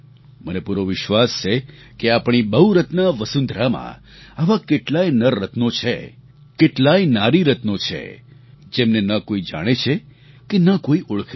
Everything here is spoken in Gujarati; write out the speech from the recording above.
મને પૂરો વિશ્વાસ છે કે આપણી બહુરત્ના વસુંધરામાં આવા કેટલાય નરરત્નો છે કેટલાય નારીરત્નો છે જેમને ન કોઈ જાણે છે કે ન કોઈ ઓળખે છે